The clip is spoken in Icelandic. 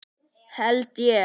Held ég.